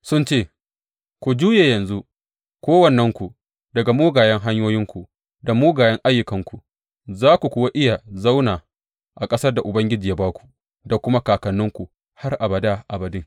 Sun ce, Ku juye yanzu, kowannenku, daga mugayen hanyoyinku da mugayen ayyukanku, za ku kuwa iya zauna a ƙasar da Ubangiji ya ba ku da kuma kakanninku har abada abadin.